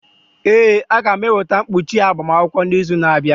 Ee, a ga m eweta mkpuchi agbamakwụkwọ n'izu na-abịa.